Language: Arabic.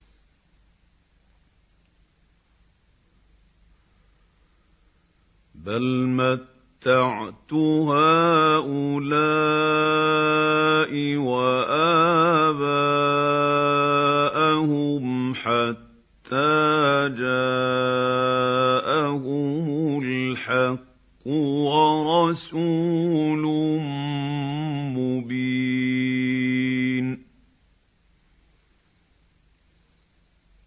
بَلْ مَتَّعْتُ هَٰؤُلَاءِ وَآبَاءَهُمْ حَتَّىٰ جَاءَهُمُ الْحَقُّ وَرَسُولٌ مُّبِينٌ